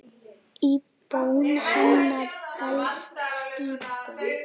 Í bón hennar felst skipun.